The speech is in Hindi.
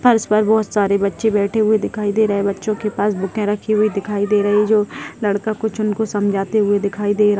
फर्श पर बहुत सारे बच्चे बैठे हुए दिखाई दे रहें हैं बच्चो के पास बूकें रखी हुई दिखाई दे रही है जो लड़का कुछ उनको समझाते हुए दिखाई दे रहा --